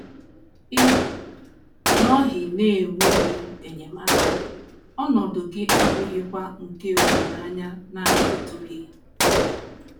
Ị nọghị n’enweghị enyemaka, ọnọdụ gị abụghịkwa nke olileanya na - adịtụghị na ya.